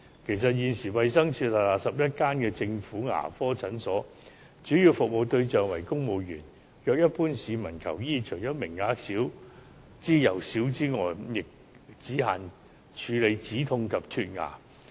其實，現時衞生署轄下11間政府牙科診所的主要服務對象為公務員，如一般市民求醫，除名額少之又少之外，亦只限於止牙痛及脫牙。